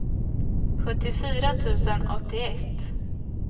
sjuttiofyra tusen åttioett